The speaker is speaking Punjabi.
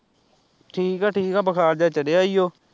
ਠੀਕ ਆ ਠੀਕ ਆ ਬੁਖਾਰ ਜਿਹਾ ਚੜਿਆ ਈ ਓ